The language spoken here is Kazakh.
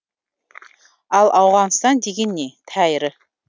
ал ауғанстан деген не тәйірі